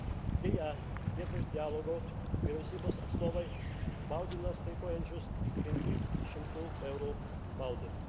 Deja, vietoj dialogo vyriausybės atstovai baugino streikuojančiuosius 500 eurų baudomis.